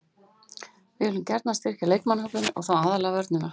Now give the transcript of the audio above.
Við viljum gjarnan styrkja leikmannahópinn og þá aðallega vörnina.